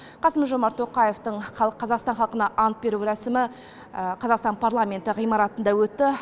қасым жомарт тоқаевтың қазақстан халқына ант беру рәсімі қазақстан парламенті ғимаратында өтті